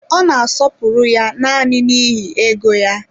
Ọ n'asọpụrụ ya naanị n'ihi ego ya.